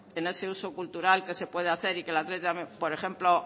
en ese uso cultural que se puede hacer por ejemplo